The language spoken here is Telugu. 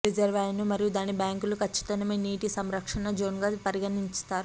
రిజర్వాయర్ మరియు దాని బ్యాంకులు ఖచ్చితమైన నీటి సంరక్షణ జోన్గా పరిగణిస్తారు